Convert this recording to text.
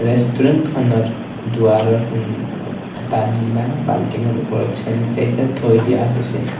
ৰেষ্টোৰেন্তখনৰ দুৱাৰৰ সন্মুখত এটা নীলা বাল্টিংৰ ওপৰত চেনিতাইজাৰ থৈ দিয়া হৈছে।